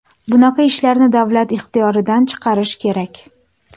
Bunaqa ishlarni davlat ixtiyoridan chiqarish kerak.